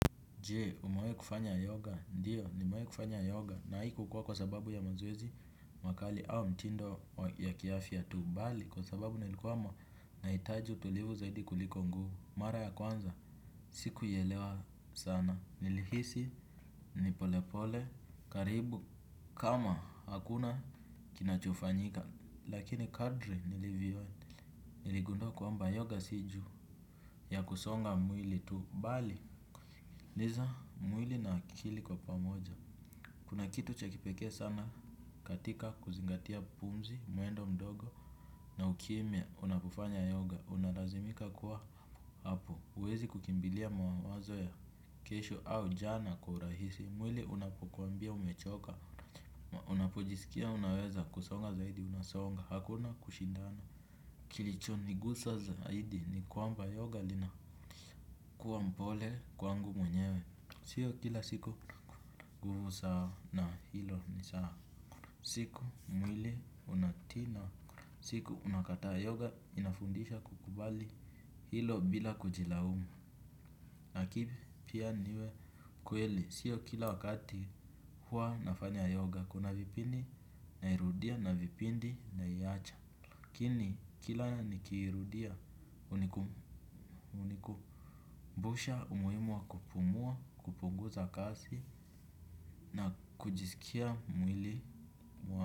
Je, umewahi kufanya yoga, ndiyo, nimewahi kufanya yoga, na haikukua kwa sababu ya mazoezi, makali, au mtindo ya kiafya tu, bali, kwa sababu nilikuwa mwa, nahitaji utulivu zaidi kuliko nguvu, mara ya kwanza, siku ielewa sana, nilihisi, nipolepole, karibu, kama hakuna kinachofanyika, lakini kadri nilivyo, niligundua kwa mba yoga siju, ya kusonga mwili tu, bali, Liza mwili na akili kwa pamoja. Kuna kitu chakipekee sana katika kuzingatia pumzi, mwendo mdogo na ukimya unapofanya yoga. Unalazimika kuwa hapo. Huwezi kukimbilia mawazo ya kesho au jana kwa urahisi. Mwili unapokwambia umechoka. Unapojiskia unaweza kusonga zaidi unasonga. Hakuna kushindana. Kilicho niguza zaidi ni kwamba yoga linakuwa mpole kwangu mwenyewe. Sio kila siku nguvu saa na hilo ni saa. Siku mwili unatina. Siku unakataa yoga inafundisha kukubali hilo bila kujila umu. Lakini pia niwe kweli. Sio kila wakati huwa nafanya yoga. Kuna vipindi na irudia na vipindi na iacha lakini kila nikiirudia huniku mbusha umuhimu wa kupumua kupunguza kasi na kujiskia mwili mwa.